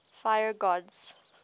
fire gods